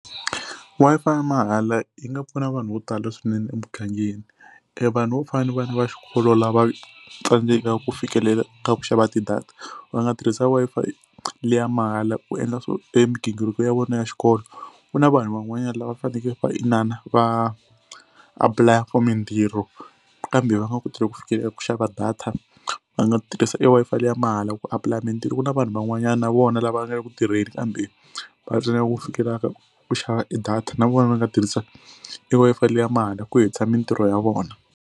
Wi-Fi ya mahala yi nga pfuna vanhu vo tala swinene emugangeni. E vanhu vo fana ni vana va xikolo lava tsandzekaka ku fikelela ka ku xava ti-data va nga tirhisa Wi-Fi liya mahala ku endla swo e migingiriko ya vona ya xikolo. Ku na vanhu van'wanyana lava faneke va inana va apply-a for mintirho kambe va nga koti ku fikelela ku xava data va nga tirhisa i Wi-Fi leyi ya mahala ku apply-a mintirho. Ku na vanhu van'wanyana na vona lava nga le ku tirheni kambe va tsandzekaka ku fikelelaka ku xava e data na vona va nga tirhisa i Wi-Fi liya mahala ku hetisa mintirho ya vona.